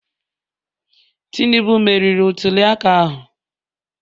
Tinubu meriri ntuliaka ahụ?